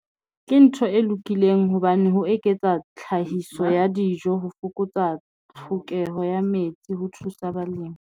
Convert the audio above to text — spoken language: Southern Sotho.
Ke ntho e lokileng hobane ho eketsa tlhahiso ya dijo, ho fokotsa tlhokeho ya metsi ho thusa balemi.